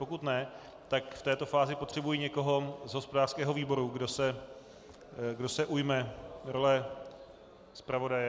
Pokud ne, tak v této fázi potřebuji někoho z hospodářského výboru, kdo se ujme role zpravodaje. .